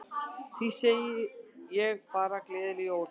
Því segi ég bara gleðileg jól.